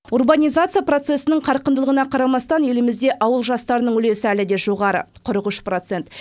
урбанизация процесінің қарқындылығына қарамастан елімізде ауыл жастарының үлесі әлі де жоғары қырық үш процент